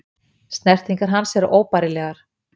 Snertingar hans eru óbærilegar.